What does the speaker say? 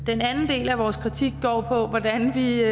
den anden del af vores kritik går på hvordan vi